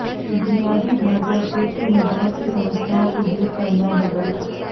बुनियादी ढांचा क्षेत्र में बहुत सी समस्याओं को दूर करना होगा